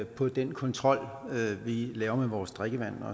på den kontrol vi laver af vores drikkevand